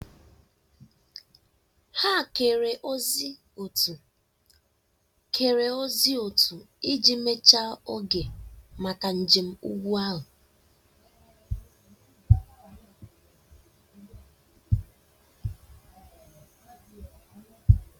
Ha kere ozi otu kere ozi otu iji mechaa oge maka njem ugwu ahụ